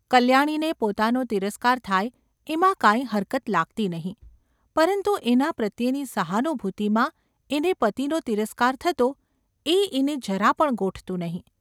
કલ્યાણીને પોતાનો તિરસ્કાર થાય એમાં કાંઈ હરકત લાગતી નહિ, પરંતુ એના પ્રત્યેની સહાનુભૂતિમાં એને પતિનો તિરસ્કાર થતો એ એને જરા પણ ગોઠતું નહિ.